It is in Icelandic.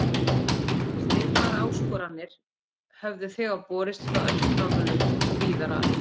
Svipaðar áskoranir höfðu þegar borist frá öllum Norðurlöndum og víðar að.